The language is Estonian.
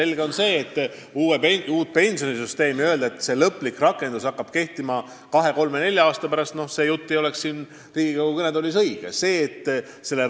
Väita, et uue pensionisüsteemi lõplik rakendus tuleb kahe või kolme või nelja aasta pärast – noh, see jutt siin Riigikogu kõnetoolis ei oleks õige.